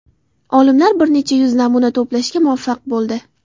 Olimlar bir necha yuz namuna to‘plashga muvaffaq bo‘ldi.